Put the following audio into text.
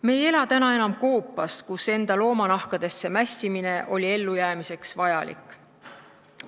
Me ei ela enam koopas, kus enda loomanahkadesse mässimine oli ellujäämiseks vajalik.